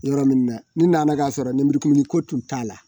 Yɔrɔ min na ni nana ka sɔrɔ nɛmurukumuni ko tun t'a la